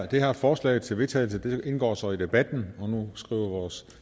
det her forslag til vedtagelse indgår så i debatten nu skriver vores